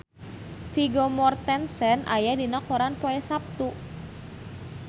Vigo Mortensen aya dina koran poe Saptu